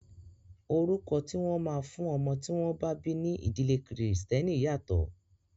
Orúkọ tí wọ́n máa fún ọmọ tí wọ́n bá bí ní ìdílé kìrìsìtẹ́nì yàtọ̀.